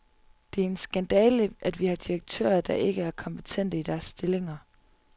Det er en skandale, at vi har direktører, der ikke er kompetente i deres stillinger.